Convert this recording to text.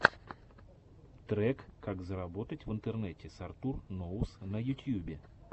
трек как заработать в интернете с артур ноус на ютьюбе